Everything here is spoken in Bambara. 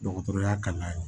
Dɔgɔtɔrɔya kalan ye